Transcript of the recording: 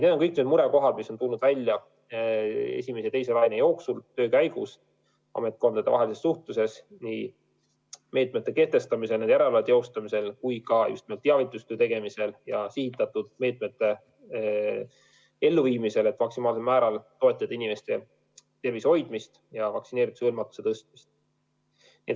Need on need murekohad, mis on tulnud välja esimese ja teise laine ajal, töö käigus ametkondadevahelises suhtluses meetmete kehtestamisel, nende üle järelevalve teostamisel ning teavitustöö tegemisel ja sihitatud meetmete elluviimisel, et maksimaalsel määral toetada inimeste tervise hoidmist ja vaktsineerituse hõlmatuse tõstmist.